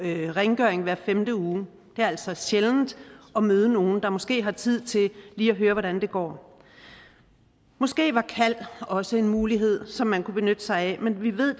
rengøring hver femte uge det er altså sjældent at møde nogen der måske har tid til lige at høre hvordan det går måske var kald også en mulighed som man kunne benytte sig af men vi ved